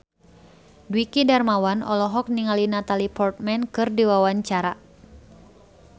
Dwiki Darmawan olohok ningali Natalie Portman keur diwawancara